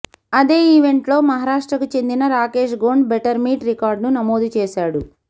అదే ఈవెంట్లో మహారాష్ట్రకు చెందిన రాకేష్ గోండ్ బెటర్మీట్ రికార్డును నమోదుచేశాడు